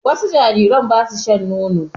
Wasu jarirai ba su shan nono.